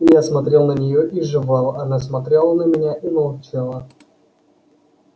я смотрел на нее и жевал она смотрела на меня и молчала